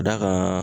Da ka